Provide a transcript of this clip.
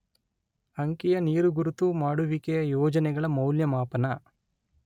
ಅಂಕೀಯ ನೀರುಗುರುತು ಮಾಡುವಿಕೆಯ ಯೋಜನೆಗಳ ಮೌಲ್ಯಮಾಪನ